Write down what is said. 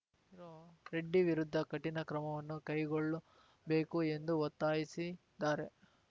ರೆಡ್ಡಿ ವಿರುದ್ಧ ಕಠಿಣ ಕ್ರಮವನ್ನು ಕೈಗೊಳ್ಳಬೇಕು ಎಂದು ಒತ್ತಾಯಿಸಿದ್ದಾರೆ